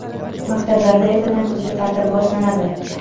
Maktablarda ertadan kuzgi taʼtil boshlanadi.